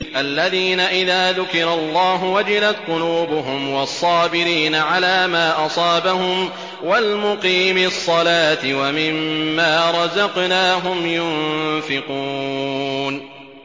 الَّذِينَ إِذَا ذُكِرَ اللَّهُ وَجِلَتْ قُلُوبُهُمْ وَالصَّابِرِينَ عَلَىٰ مَا أَصَابَهُمْ وَالْمُقِيمِي الصَّلَاةِ وَمِمَّا رَزَقْنَاهُمْ يُنفِقُونَ